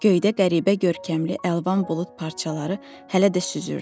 Göydə qəribə görkəmli əlvan bulud parçaları hələ də süzürdü.